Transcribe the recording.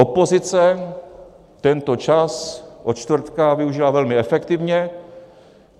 Opozice tento čas od čtvrtka využila velmi efektivně.